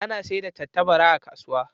Ana sayar da tattabara a kasuwa.